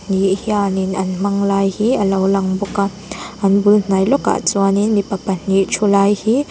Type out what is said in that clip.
nih hianin an hmang lai hi a lo lang bawk a an bul hnai lawkah chuanin mipa pahnih thu lai hi--